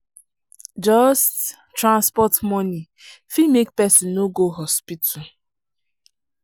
just transport money fit make person no go hospital.